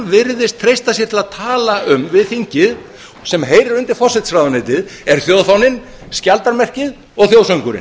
virðist treysta sér til að tala um við þingið sem heyrir undir forsætisráðuneytið er þjóðfáninn skjaldarmerkið og þjóðsöngurinn